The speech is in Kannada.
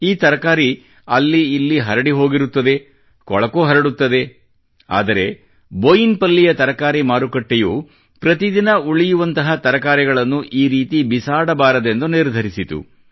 ಈ ತರಕಾರಿ ಅಲ್ಲಿ ಇಲ್ಲಿ ಹರಡಿ ಹೋಗಿರುತ್ತದೆ ಕೊಳಕೂ ಹರಡುತ್ತದೆ ಆದರೆ ಬೋಯಿನಪಲ್ಲಿಯ ತರಕಾರಿ ಮಾರುಕಟ್ಟೆಯು ಪ್ರತಿ ದಿನ ಉಳಿಯುವಂತಹ ಇಂತಹ ತರಕಾರಿಗಳನ್ನು ಈ ರೀತಿ ಬಿಸಾಡಬಾರದೆಂದು ನಿರ್ಧರಿಸಿತು